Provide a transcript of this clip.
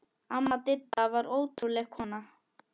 Amma Didda var ótrúleg kona.